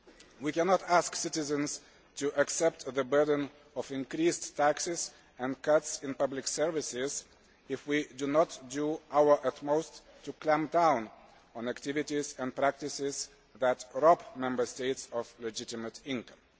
We cannot ask citizens to accept the burden of increased taxes and cuts in public services if we do not do our utmost to clamp down on activities and practices that rob Member States of legitimate income.